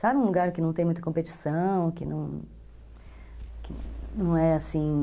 Sabe um lugar que não tem muita competição, que que não é assim...